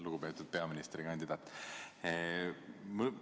Lugupeetud peaministrikandidaat!